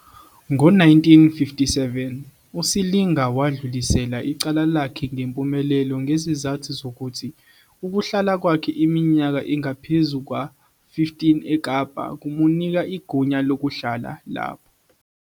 Ngo-1957, uSilinga wadlulisela icala lakhe ngempumelelo ngezizathu zokuthi ukuhlala kwakhe iminyaka engaphezu kwa-15 eKapa kumnika igunya lokuhlala lapho.